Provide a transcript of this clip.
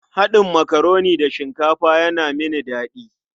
Haɗin makaroni da shinkafa yana mini daɗi.